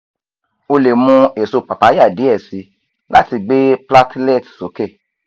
o le mu eso papaya diẹ sii lati gbe platelet soke